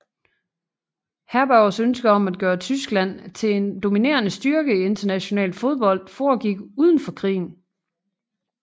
Herbergers ønske om at gøre Tyskland til en dominerende styrke i international fodbold foregik forud for krigen